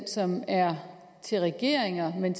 som er til regeringer men